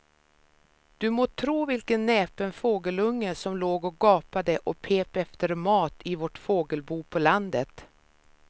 Du må tro vilken näpen fågelunge som låg och gapade och pep efter mat i vårt fågelbo på landet.